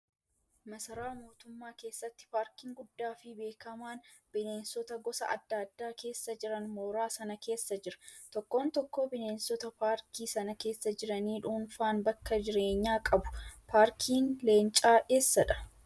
Maasaraa mootummaa keessatti paarkiin guddaa fi beekamaan bineensota gosa adda addaa keessa jiran mooraa sana keessa jira. Tokkoon tokkoo bineensota paarkii sana keessa jiranii dhuunfaan bakka jireenyaa qabu. Paarkiin leencaa eessadhaa?